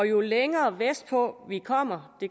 jo længere vestpå vi kommer